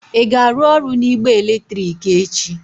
Ị ga-arụ ọrụ na igbe eletrik echi?